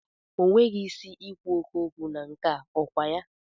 O nweghị isi i kwu oké okwu na nke a, ọ kwa ya?